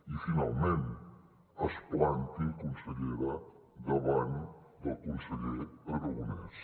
i finalment es planti consellera davant del conseller aragonès